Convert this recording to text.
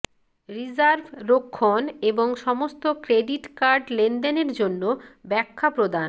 reserve রক্ষণ এবং সমস্ত ক্রেডিট কার্ড লেনদেনের জন্য ব্যাখ্যা প্রদান